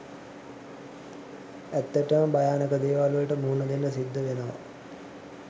ඇත්තටම භයානක දේවල් වලට මුහුණදෙන්න සිද්ධ වෙනවා